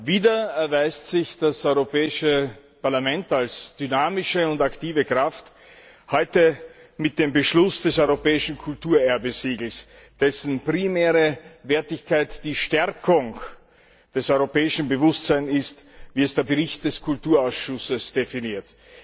Wieder erweist sich das Europäische Parlament als dynamische und aktive Kraft, heute mit dem Beschluss des Europäischen Kulturerbe Siegels, dessen primäre Wertigkeit die Stärkung des europäischen Bewusstseins ist, wie es der Bericht des Kulturausschusses definiert.